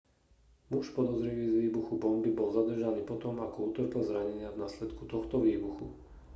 muž podozrivý z výbuchu bomby bol zadržaný potom ako utrpel zranenia v následku tohto výbuchu